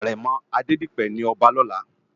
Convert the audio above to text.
Arèmò Adedipe ni òbá lòlá